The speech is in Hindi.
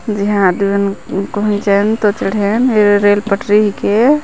यहाँ आदमी मन कोई झन तो चढेन ये रेल पटरी के --